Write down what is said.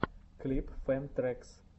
клип фэн трэкс